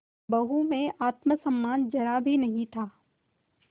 बहू में आत्म सम्मान जरा भी नहीं था